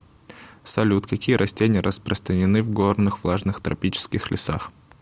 салют какие растения распространены в горных влажных тропических лесах